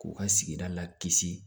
K'u ka sigida la kisi